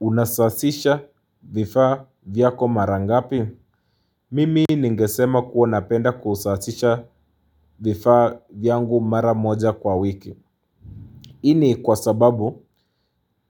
Unasasisha vifaa vyako mara ngapi? Mimi ningesema kuwa napenda kusasisha vifaa vyangu mara moja kwa wiki. Hii ni kwa sababu